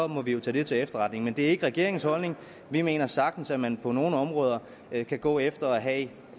må vi jo tage det til efterretning men det er ikke regeringens holdning vi mener sagtens at man på nogle områder kan gå efter at